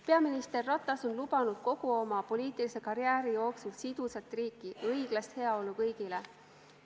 Peaminister Ratas on lubanud kogu oma poliitilise karjääri jooksul sidusat riiki ja õiglast heaolu kõigile.